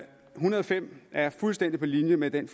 hundrede og fem er fuldstændig på linje med den